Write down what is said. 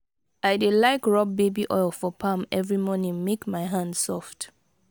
i dey like rob baby oil for palm every morning make my hand soft.